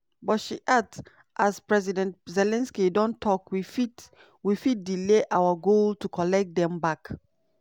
"but" she add "as president zelensky don tok we fit we fit delay our goal to collect dem back".